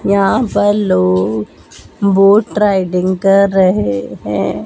यहां पर लोग बोट राइटिंग कर रहे हैं।